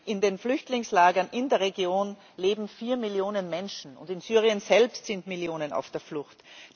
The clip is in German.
In den Flüchtlingslagern in der Region leben vier Millionen Menschen, und in Syrien selbst sind Millionen auf der Flucht.